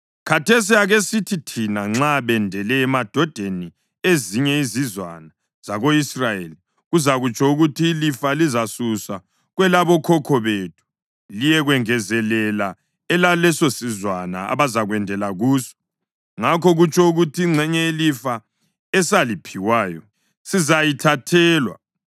Khathesi akesithi thina nxa bendele emadodeni ezinye izizwana zako-Israyeli; kuzakutsho ukuthi ilifa lizasuswa kwelabokhokho bethu liyekwengezelela elalesosizwana abazakwendela kuso. Ngakho kutsho ukuthi ingxenye yelifa esaliphiwayo sizayithathelwa.